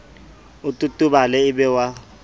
o totobale e be wa